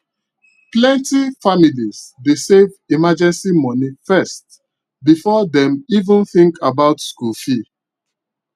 plenty families dey save emergency money first before dem even think about school fee